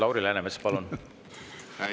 Lauri Läänemets, palun!